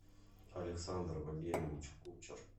александр валерьевич кучер